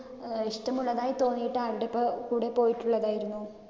ഏർ ഇഷ്ടമുള്ളതായി തോന്നീട്ട് കൂടെ പോയിട്ടുള്ളതായിരുന്നു?